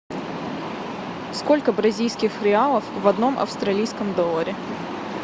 сколько бразильских реалов в одном австралийском долларе